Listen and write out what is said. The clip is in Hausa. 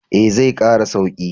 Eh, zai kara sauki.